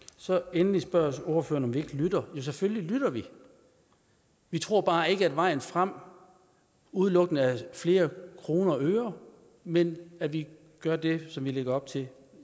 endelig spørger ordføreren om vi ikke lytter jo selvfølgelig lytter vi vi tror bare ikke at vejen frem udelukkende er flere kroner og øre men at vi gør det som vi lægger op til